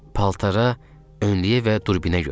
Paltara, önlüyə və durbinə görə.